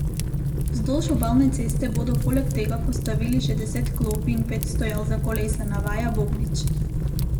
Vzdolž obalne ceste bodo poleg tega postavili še deset klopi in pet stojal za kolesa, navaja Bobnič.